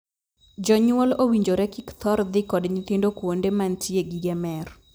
Jonyuol owinjore kik thor dhi kod nyithindo kuonde mantie gige mer.